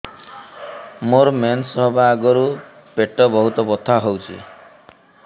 ମୋର ମେନ୍ସେସ ହବା ଆଗରୁ ପେଟ ବହୁତ ବଥା ହଉଚି